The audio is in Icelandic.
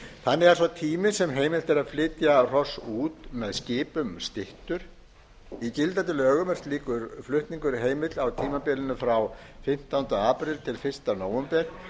þannig er sá tími sem heimilt er að flytja hross út með skipum styttur í gildandi lögum er slíkur flutningur heimill á tímabilinu frá fimmtánda apríl til fyrsta nóvember